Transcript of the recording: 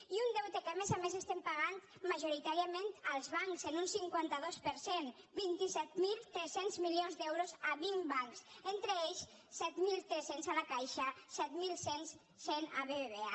i un deute que a més a més estem pagant majoritàriament als bancs en un cinquanta dos per cent vint set mil tres cents milions d’euros a vint bancs entre ells set mil tres cents a la caixa set mil cent a bbva